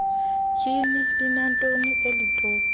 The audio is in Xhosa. tyhini linantonina elitopi